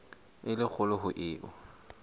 e le kgolo ho eo